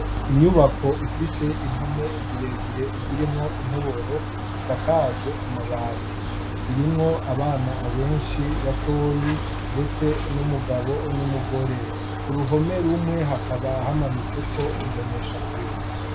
Inyubako ifise impome zirezire zirimwo intoboro isakajwe amabati, irimwo abana benshi batoyi ndetse n'umugabo n'umugore, ku ruhome rumwe hakaba hamanitseko imboneshakure.